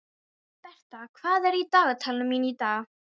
Bertha, hvað er í dagatalinu mínu í dag?